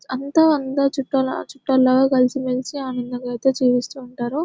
అంతా అంద చుట్ట చుట్టాలు లాగా కలిసిమెలిసి ఆనందంగా అయితే జీవిస్తూ ఉంటారు.